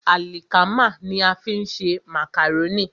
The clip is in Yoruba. Àlìkámà ní a fi ń ṣe màkàrónì.